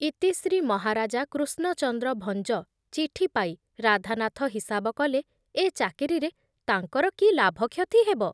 ଇତି ଶ୍ରୀ ମହାରାଜା କୃଷ୍ଣଚନ୍ଦ୍ର ଭଞ୍ଜ ଚିଠି ପାଇ ରାଧାନାଥ ହିସାବ କଲେ ଏ ଚାକିରିରେ ତାଙ୍କର କି ଲାଭ କ୍ଷତି ହେବ ।